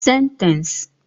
Sentence